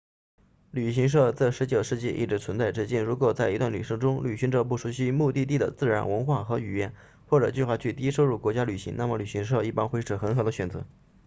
旅行社自19世纪一直存在至今如果在一段旅程中旅行者不熟悉目的地的自然文化和语言或者计划去低收入国家旅行那么旅行社一般会是很好的选择